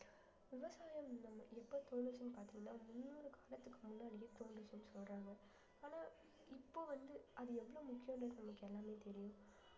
விவசாயம் இங்க எப்ப தோணுச்சுன்னு பார்த்தீங்கன்னா காலத்துக்கு முன்னாடியே தோன்றுச்சுன்னு சொல்றாங்க ஆனா இப்ப வந்து அது எவ்வளவு முக்கியம்னு எல்லாமே தெரியும்